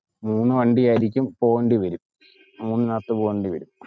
മൂന്ന് വണ്ടിയാരിക്കും പോവേണ്ടി വരും, മൂന്നിനകത്തു പോകേണ്ടി വരും.